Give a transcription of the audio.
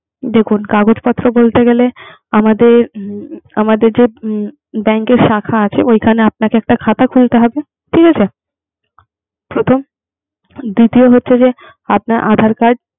দেখুন কাগজপত্র বলতে গেলে আমাদের, আমাদের যে উম bank এর শাখা আছে ওইখানে আপনাকে একটা খাতা খুলতে হবে, ঠিক আছে, প্রথম। দ্বিতীয় হচ্ছে যে আপনার aadhar card ।